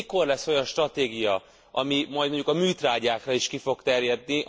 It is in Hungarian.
Mikor lesz olyan stratégia, ami majd mondjuk a műtrágyákra is ki fog terjedni?